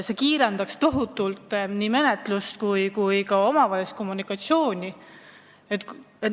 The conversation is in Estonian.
See kiirendaks tohutult nii menetlust kui ka omavahelist kommunikatsiooni.